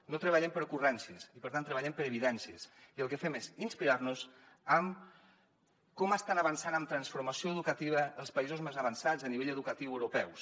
no treballem per ocurrències i per tant treballem per evidències i el que fem és inspirar nos en com estan avançant en transformació educativa els països més avançats a nivell educatiu europeus